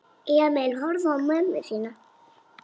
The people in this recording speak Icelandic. Emil horfði á mömmu sína.